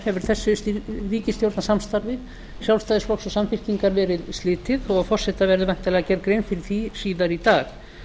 hefur þessu ríkisstjórnarsamstarfi sjálfstæðisflokks og samfylkingar verið slitið og forseta verður væntanlega gerð grein fyrir því síðar í dag